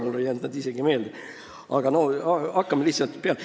Mulle ei jäänud need isegi meelde, aga hakkame siis lihtsalt peale.